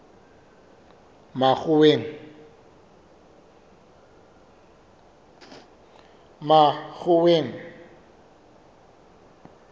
makgoweng